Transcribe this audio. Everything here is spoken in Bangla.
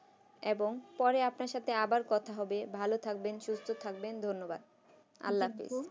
এবং পরে আপনার সাথে আবার কথা হবে ভালো থাকবেন সুস্থ থাকবেন ধন্যবাদ আল্লাহ হাফিজ